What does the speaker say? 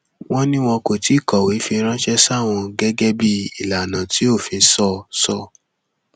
wọn ní wọn kò tí ì kọwé fi ránṣẹ sáwọn gẹgẹ bíi ìlànà tí òfin sọ sọ